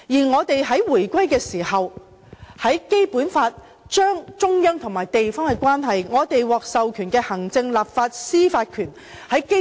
我們在回歸時，《基本法》亦清楚訂明中央與地方的關係、我們獲授予的行政、立法和司法權等。